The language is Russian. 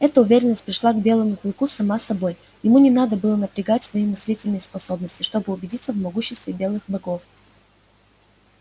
эта уверенность пришла к белому клыку сама собой ему не надо было напрягать свои мыслительные способности чтобы убедиться в могуществе белых богов